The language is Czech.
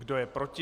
Kdo je proti?